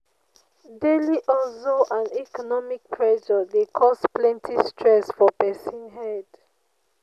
Daily hustle and economic pressure dey cause plenty stress for pesin head.